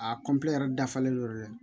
A yɛrɛ dafalen ye